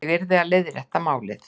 Ég yrði að leiðrétta málið.